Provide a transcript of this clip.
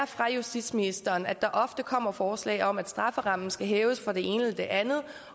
fra justitsministeren ofte kommer forslag om at strafferammen skal hæves for det ene og det andet